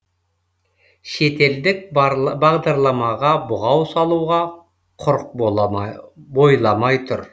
шетелдік бағдарламаға бұғау салуға құрық бойламай тұр